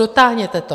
Dotáhněte to.